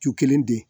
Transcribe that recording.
Cu kelen di